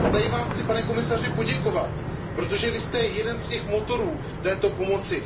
A tady Vám chci, pane komisaři, poděkovat, protože Vy jste jeden z těch motorů této pomoci.